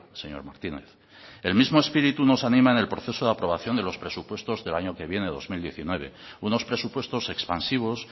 señor martínez el mismo espíritu nos anima en el proceso de aprobación de los presupuestos del año que viene dos mil diecinueve unos presupuestos expansivos